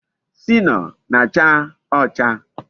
Sinoo na-acha ocha